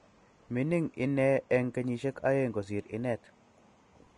Mining ine eng kenyishek aeng kosir inet